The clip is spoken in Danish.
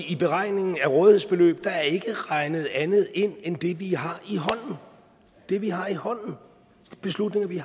i beregningen af rådighedsbeløb er ikke regnet andet ind end det vi har i hånden det vi har i hånden beslutninger vi